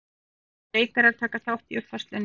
Valinkunnir leikarar taka þátt í uppfærslunni